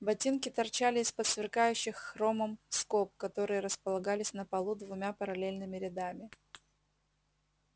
ботинки торчали из-под сверкающих хромом скоб которые располагались на полу двумя параллельными рядами